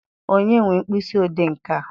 Onye nwe mkpịsị odee nke a?